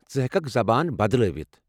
ژٕ ہیٚککھ زبان بدلاوِتھ ۔